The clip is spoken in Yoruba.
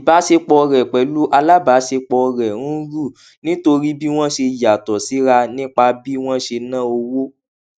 ìbáṣepọ rẹ pẹlú alábàáṣepọ rẹ ń rú nítorí bí wọn ṣe yàtọ síra nípa bí wọn ṣe na owó